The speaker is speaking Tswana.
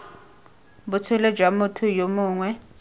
botshelo jwa motho yo mongwe